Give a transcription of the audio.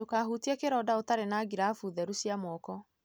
Ndũkahutie kĩronda ũtarĩ na girabu theru cia moko.